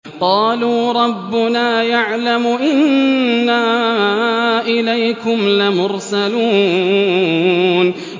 قَالُوا رَبُّنَا يَعْلَمُ إِنَّا إِلَيْكُمْ لَمُرْسَلُونَ